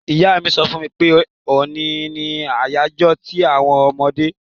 Ìyá mi so fún mi pe òní ni àyájó ti àwon ọmọdé